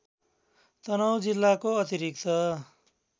तनहुँ जिल्लाको अतिरिक्त